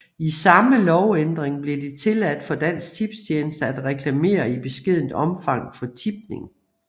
I samme lovændring blev det tilladt for Dansk Tipstjeneste at reklamere i beskedent omfang for tipning